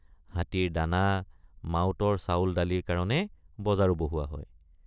হাতীৰ দানা মাউতৰ চাউলদালিৰ কাৰণে বজাৰো বহুৱা হয়।